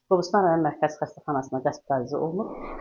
Qobustan rayon Mərkəzi Xəstəxanasına hospitalizə olunub.